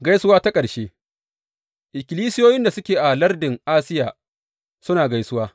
Gaisuwa ta ƙarshe Ikkilisiyoyin da suke a lardin Asiya suna gaisuwa.